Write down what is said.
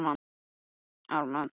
Og líka Jón í Götu, sagði Abba hin.